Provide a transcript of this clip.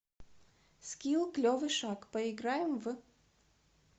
скилл клевый шаг поиграем в